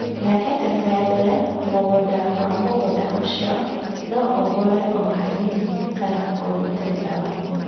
Mĩaka ĩtatũ ya mbere ya mũgũnda wa mũgũnda ũcio, no ũgũre o hanini kana ũrute thawani